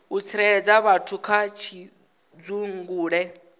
u tsireledza vhathu kha pfudzungule